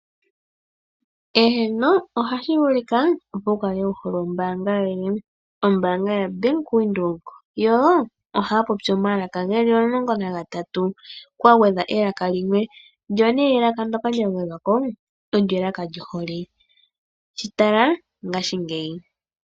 Eheno ohashi vulika opo wukale wuhole ombaanga yoye, ombaanga yaBank Windhoek yo ohaa popi omalaka geli omulongo nagatatu kwagwedhwa elaka limwe, ndyo nee elaka ndyoka lyagwedhwa ko olyo elaka lyohole shi tala ngaashingeyi.